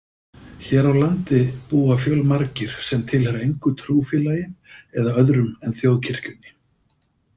Hér á landi búa fjölmargir sem tilheyra engu trúfélagi eða öðrum en þjóðkirkjunni.